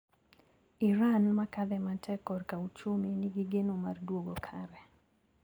Iran makadhe matek korka uchumi ni gi geno mar duogo kare.